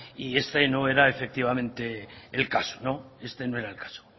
y este no era efectivamente el caso este no era no era el caso